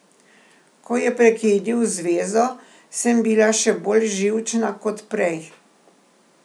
Ko je prekinil zvezo, sem bila še bolj živčna kot prej.